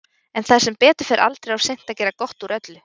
En það er sem betur fer aldrei of seint að gera gott úr öllu.